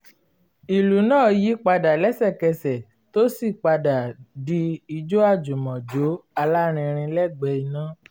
ìlú náà yí padà lẹ́sẹ̀kẹsẹ̀ tó sì ń padà di ijó àjùmọ̀jó alárinrin lẹgbẹ iná